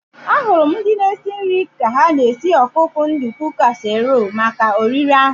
Ahụrụ m ndị na-esi nri ka ha na-esi ọkụkọ nduku kasiirọl maka oriri ahu